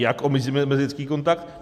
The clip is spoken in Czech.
Jak omezíme mezilidský kontakt?